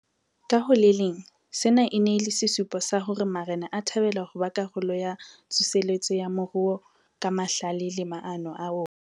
Ka ho le leng, sena e ne e le sesupo sa hore marena a thabela ho ba karolo ya tsoseletso ya moruo ka mahlale le maano a ona.